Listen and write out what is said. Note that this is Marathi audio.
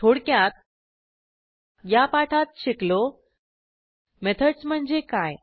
थोडक्यात या पाठात शिकलो मेथडस म्हणजे काय